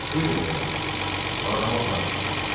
Buyurun cənablar, bu adamı aparın.